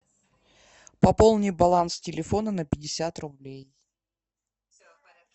пополни баланс телефона на пятьдесят рублей